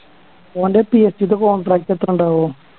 ഓൻ്റെ PSE ടെ contract എത്ര ഇണ്ടാവും